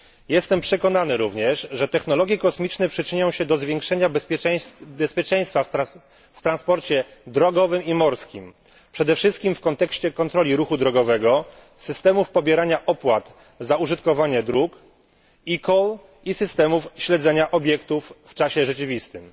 Jestem przekonany również, że technologie kosmiczne przyczynią się do zwiększenia bezpieczeństwa w transporcie drogowym i morskim, przede wszystkim w kontekście kontroli ruchu drogowego, systemów pobierania opłat za użytkowanie dróg, eCall i systemów śledzenia obiektów w czasie rzeczywistym.